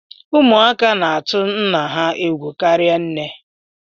Ụmụaka na-atụ nna ha egwu karịa nne